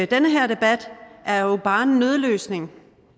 den her debat er jo bare en nødløsning